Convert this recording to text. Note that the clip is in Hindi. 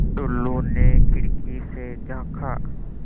टुल्लु ने खिड़की से झाँका